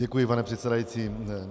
Děkuji, pane předsedající.